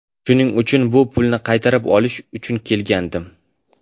Shuning uchun bu pulni qaytarib olish uchun kelgandim.